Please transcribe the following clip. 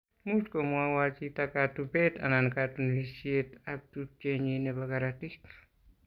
much kumawo chito katubet anan katunisietab tupchenyin nebo korotik.